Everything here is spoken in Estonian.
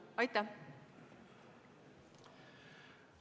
Aitäh!